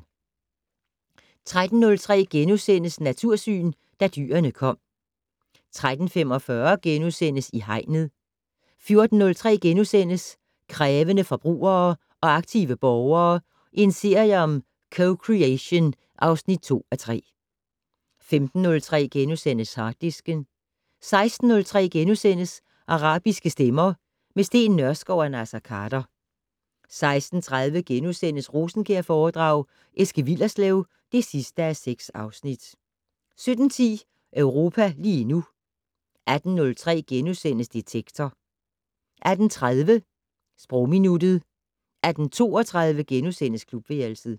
13:03: Natursyn: Da dyrene kom * 13:45: I Hegnet * 14:03: Krævende forbrugere og aktive borgere - en serie om co-creation (2:3)* 15:03: Harddisken * 16:03: Arabiske stemmer - med Steen Nørskov og Naser Khader * 16:30: Rosenkjærforedrag: Eske Willerslev (6:6)* 17:10: Europa lige nu 18:03: Detektor * 18:30: Sprogminuttet 18:32: Klubværelset *